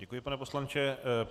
Děkuji, pane poslanče.